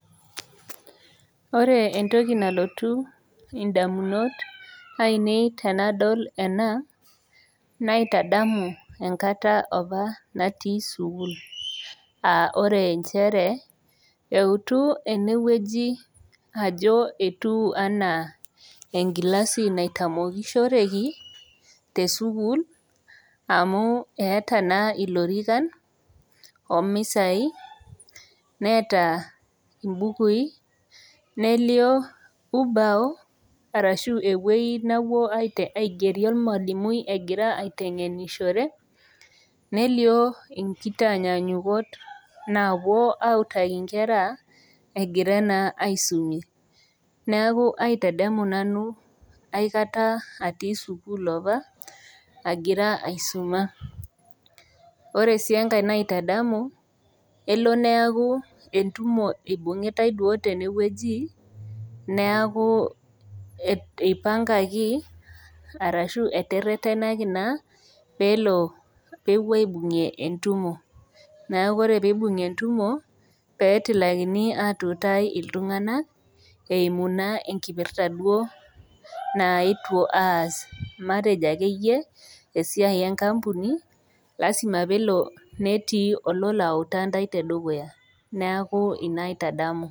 Ore entoki nalotu indamunot ainei tenadol ena naitadamu enkata opa natii sukuul aore nchere eutu enewueji ajo etu anaa engilasi naitamokishoreki tesukuul amu eeta naa ilorikan omisai neeta imbukui nelio ubao arashu ewuei napuo aigerie olmalimui egira aiteng'enishore nelio enkitanyanyukot naapuo autaki inkera egira naa aisumie neeku aitadamu nanu aikata atii sukuul opa agira aisuma ore sii enkae naitadamu elo neaku entumo ibung'itae duo tenewueji neaku eipangaki arashu eterretenaki naa peelo peepuo aibung'ie entumo neku ore peibung'i entumo petilakini atutai iltung'anak eimu naa enkipirta duo naetuo aas matejo akeyie esiai enkampuni lasima peelo netii ololo autaa ntae te dukuya neaku ina aitadamu.